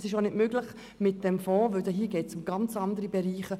Es ist auch ohne diesen Fonds möglich, denn dabei geht es um ganz andere Bereiche.